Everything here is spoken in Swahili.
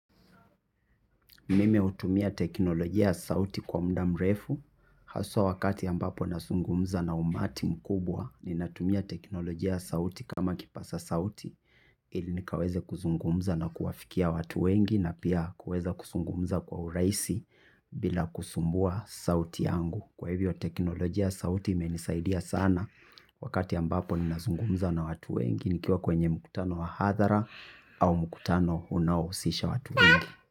Mimi hutumia teknolojia sauti kwa mda mrefu, haswa wakati ambapo nasungumza na umati mkubwa, ninatumia teknolojia ya sauti kama kipasa sauti, ili nikaweze kuzungumza na kuwafikia watu wengi na pia kuweza kusungumza kwa urahisi bila kusumbua sauti yangu. Kwa hivyo teknolojia sauti imenisaidia sana wakati ambapo ninasungumza na watu wengi nikiwa kwenye mkutano wa hathara au mkutano unaohusisha watu wengi.